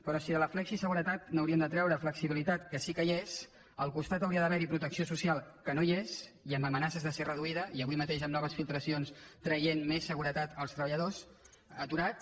però si de la flexiseguretat n’hauríem de treure flexibilitat que sí que hi és al costat hauria d’haver hi protecció social que no hi és i amb amenaces de ser reduïda i avui mateix amb noves filtracions traient més seguretat als treballadors aturats